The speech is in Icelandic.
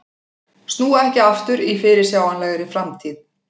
Snúa ekki aftur í fyrirsjáanlegri framtíð